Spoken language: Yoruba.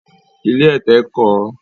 Ilé ẹ̀tẹ̀ kọ̀ ọ́